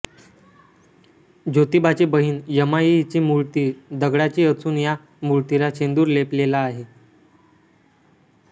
ज्योतिबाची बहिण यमाई हिची मूर्ती दगडाची असून या मूर्तीला शेंदूर लेपलेला आहे